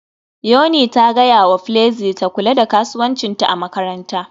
Yuni ta gaya wa Flexy ta kula da kasuwancinta a makaranta